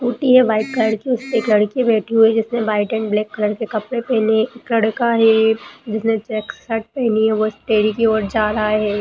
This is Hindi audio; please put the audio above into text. स्कूटी है व्हाइट कलर की उसपे एक लडकी बैठी हुई है जिसने व्हाइट एण्ड ब्लैक कलर के कपडे पेहने है एक लडका है जिसने चेक्स शर्ट पेहनी है वो इस डेयरी कि ओर जा रहा है।